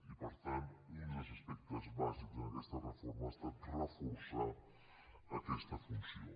i per tant un dels aspectes bàsics en aquesta reforma ha estat reforçar aquesta funció